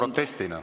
Aitäh!